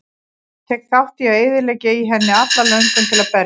Tek þátt í að eyðileggja í henni alla löngun til að berjast.